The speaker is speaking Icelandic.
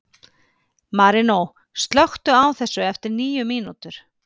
Marínó, slökktu á þessu eftir níu mínútur.